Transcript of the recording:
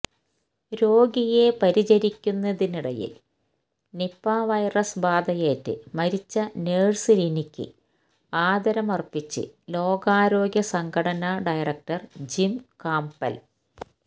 രോഗിയെ പരിചരിക്കുന്നതിനിടയിൽ Nipah virus ബാധയേറ്റ് മരിച്ച നഴ്സ് ലിനിക്ക് ആദരമർപ്പിച്ച് ലോകാരോഗ്യ സംഘടനാ ഡയറക്ടർ ജിം കാംപെൽ